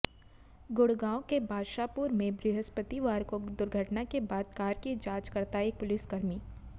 गुड़गांव के बादशाहपुर में बृहस्पतिवार को दुर्घटना के बाद कार की जांच करता एक पुलिसकर्मी